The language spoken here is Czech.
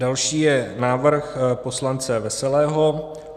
Další je návrh poslance Veselého.